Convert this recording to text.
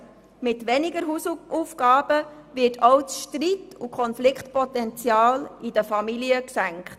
Mit weniger Hausaufgaben wird auch das Konfliktpotenzial in den Familien gesenkt.